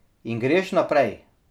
In greš naprej.